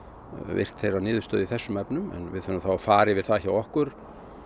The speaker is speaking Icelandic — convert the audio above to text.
virt þeirra niðurstöðu í þessum efnum við þurfum þá að fara yfir það hjá okkur